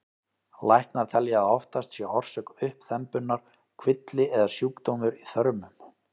Læknar telja að oftast sé orsök uppþembunnar kvilli eða sjúkdómur í þörmum.